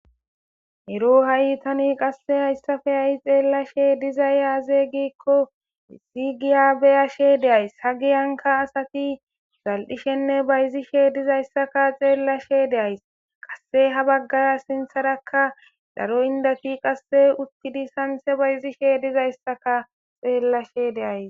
Ero ha'itani qasse hayssafe ayi xeellashe dizayyaazey giikko missi giya beyashe deays ha giyanka asati zal'ishenne bayzishe dizayssaka xeellashe deays qasse ha baggara sintharakka daro indati qasse uttidi sanse bayzishe dizayssaka xeellashe deays.